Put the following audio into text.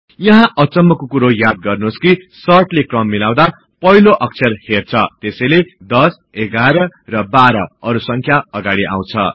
यहाँ अचम्मको कुरा याद गर्नुहोस् कि सर्टले क्रम मिलाउदा पहिलो अक्षर हर्छ त्यसैले 1011एएमपी12 अरु संख्या अगाडि आउँछ